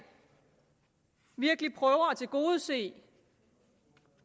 virkelig prøver at tilgodese